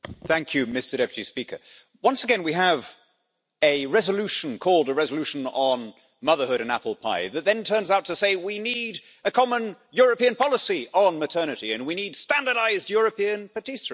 Mr President, once again we have a resolution called a resolution on motherhood and apple pie' that then turns out to say we need a common European policy on maternity and we need standardised European patisserie.